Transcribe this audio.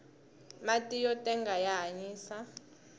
mati yo tenga ya hanyisa